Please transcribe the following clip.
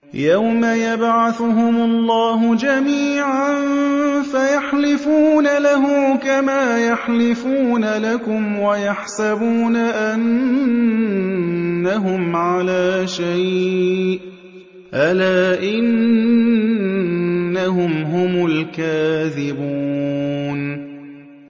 يَوْمَ يَبْعَثُهُمُ اللَّهُ جَمِيعًا فَيَحْلِفُونَ لَهُ كَمَا يَحْلِفُونَ لَكُمْ ۖ وَيَحْسَبُونَ أَنَّهُمْ عَلَىٰ شَيْءٍ ۚ أَلَا إِنَّهُمْ هُمُ الْكَاذِبُونَ